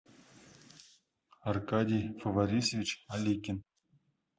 аркадий фаварисович аликин